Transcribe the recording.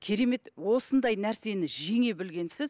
керемет осындай нәрсені жеңе білгенсіз